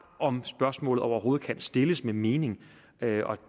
om spørgsmålet overhovedet kan stilles med mening